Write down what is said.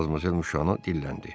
Madmazel Müşo dilləndi.